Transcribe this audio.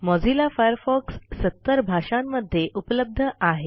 Mozilla Firefox ७० भाषांमध्ये उपलब्ध आहे